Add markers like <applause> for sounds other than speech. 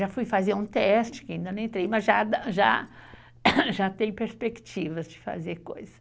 Já fui fazer um teste, que ainda não entrei, mas já, <coughs> mas já tem perspectivas de fazer coisas.